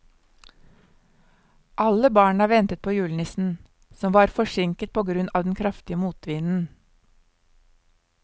Alle barna ventet på julenissen, som var forsinket på grunn av den kraftige motvinden.